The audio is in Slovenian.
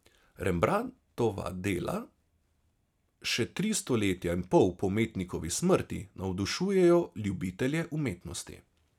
Rembrandtova dela še tri stoletja in pol po umetnikovi smrti navdušujejo ljubitelje umetnosti.